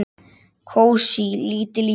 Kósí, lítil íbúð.